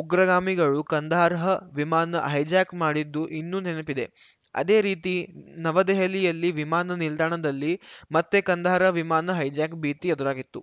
ಉಗ್ರಗಾಮಿಗಳು ಕಂದಹಾರ್‌ ವಿಮಾನ ಹೈಜಾಕ್‌ ಮಾಡಿದ್ದು ಇನ್ನೂ ನೆನಪಿದೆ ಅದೇ ರೀತಿ ನವದೆಹಲಿಯಲ್ಲಿ ವಿಮಾನ ನಿಲ್ದಾಣದಲ್ಲಿ ಮತ್ತೆ ಕಂದಾಹಾರ್‌ ವಿಮಾನ ಹೈಜಾಕ್‌ ಭೀತಿ ಎದುರಾಗಿತ್ತು